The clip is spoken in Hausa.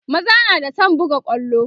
maza na da San buga kwallo